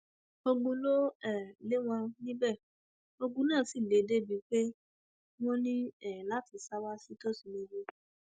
ogun ló um lé wọn níbẹ ogun náà sì le débií pé wọn ní um láti sá wá sí tòsí níbí